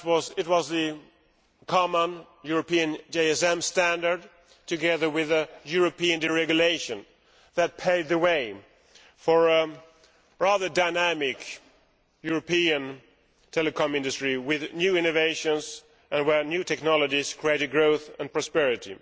It was a common European GSM standard together with European deregulation that paved the way for a dynamic European telecoms industry with new innovations, where new technolgies created growth and prosperity.